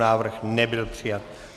Návrh nebyl přijat.